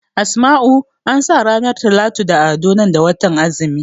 Asma'u ansa ranar Talatu da Ado nan da watan azumi